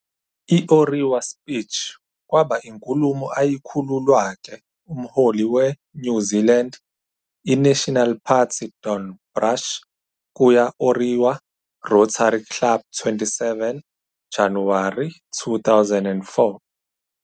I Orewa Speech kwaba inkulumo ayikhululwa ke-umholi we -New Zealand i-National Party Don Brash kuya Orewa rotary Club 27 Januwari 2004.